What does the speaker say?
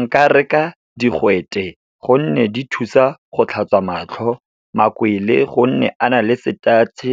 Nka reka digwete, gonne di thusa go tlhatswa matlho. Makwele, gonne a na le setatšhe,